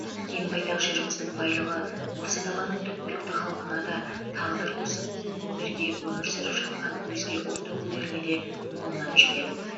кең байтақ жеріміздің байлығы осы даланың түпкілікті халқына да тағдыр қосып бірге өмір сүріп жатқан өзге ұлт өкілдеріне де молынан жетеді